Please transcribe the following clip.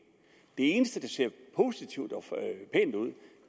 eneste der ser positivt og pænt ud